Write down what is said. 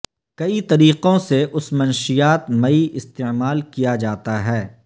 کئی طریقوں سے اس منشیات مئی استعمال کیا جاتا ہے